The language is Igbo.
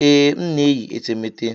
Ee, m na-eyi etemeete.